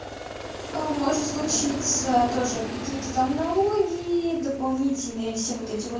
ээ может случиться тоже какие-то там налоги дополнительные все вот эти вот